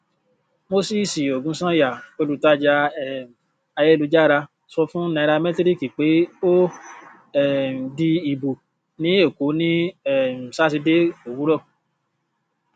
mosisi ogunsanya olùtajà um ayélujára sọ fún náíràmetiriki pé ó um di ibò ní èkó ní um sátidé òwúrọ